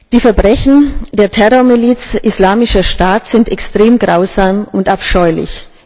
Die Verbrechen der Terrormiliz Islamischer Staat sind extrem grausam und abscheulich.